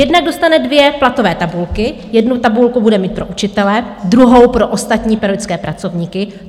Jednak dostane dvě platové tabulky, jednu tabulku bude mít pro učitele, druhou pro ostatní pedagogické pracovníky.